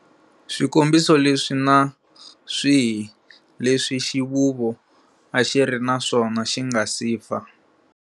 Swikombiso leswi na swihi leswi xivuvo a xi ri na swona xi nga si fa.